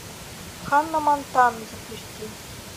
ханна монтана запусти